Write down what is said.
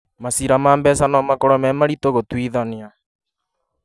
Maciira ma mbeca no makorwo me maritũ gũtuithania